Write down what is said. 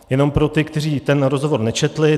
Jen pro ty, kteří ten rozhovor nečetl.